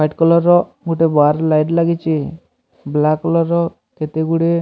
white colour ର ଗୋଟେ bar light ଲାଗିଚି ବ୍ଲାକ କଲର ର କେତେଗୁଡିଏ --